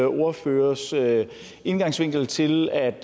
ordførers indgangsvinkel til at